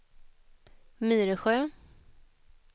Myresjö